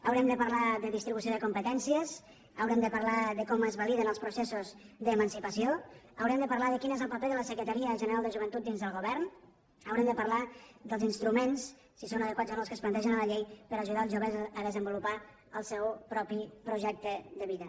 haurem de parlar de distribució de competències haurem de parlar de com es validen els processos d’emancipació haurem de parlar de quin és el paper de la secretaria general de joventut dins del govern haurem de parlar dels instruments si són adequats o no els que es plantegen a la llei per ajudar els joves a desenvolupar el seu propi projecte de vida